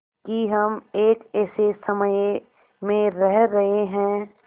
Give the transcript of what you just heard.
कि हम एक ऐसे समय में रह रहे हैं